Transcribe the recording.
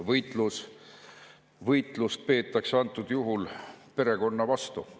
… ja võitlust peetakse antud juhul perekonna vastu.